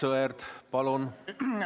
Aivar Sõerd, palun!